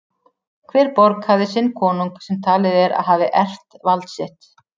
Hver borg hafði sinn konung sem talið er að hafi erft vald sitt.